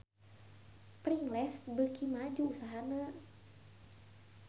Pringles beuki maju usahana